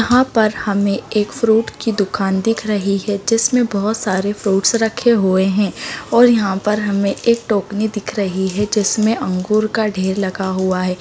यहाँ पर हमें एक फ्रूट्स की दुकान दिखाई दे रही है जिसमें बहुत सारे फ्रूट्स रखे हुए हैं और यहाँ पे हमें एक टोकनी दिख रही है जिसमें अंगूर का ढेर रखा हुआ है। यहाँ पर हमें एक फ्रूट्स की दुकान दिखाई दे रही है जिसमें बहुत सारे फ्रूट्स रखे हुए हैं और यहाँ पे हमें एक टोकनी दिख रही है जिसमें अंगूर का ढेर रखा हुआ है।